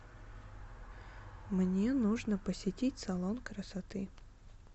мне нужно посетить салон красоты